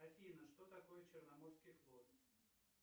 афина что такое черноморский флот